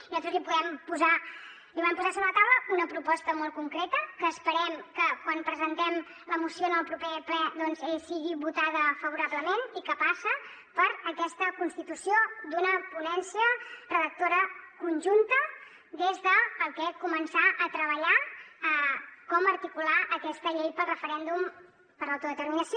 i nosaltres li vam posar sobre la taula una proposta molt concreta que esperem que quan presentem la moció en el proper ple doncs sigui votada favorablement i que passa per aquesta constitució d’una ponència redactora conjunta des de la que començar a treballar com articular aquesta llei del referèndum per a l’autodeterminació